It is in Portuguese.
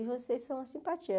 E vocês são uma simpatia.